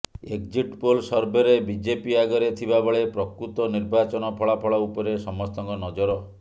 exit poll ସର୍ଭେରେ BJP ଆଗରେ ଥିବାବେଳେ ପ୍ରକୃତ ନିର୍ବାଚନ ଫଳାଫଳ ଉପରେ ସମସ୍ତଙ୍କ ନଜର